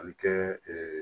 A bɛ kɛ